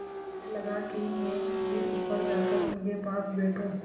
मुझे लगा कि मैं भी ऊपर जाकर उनके पास बैठूँ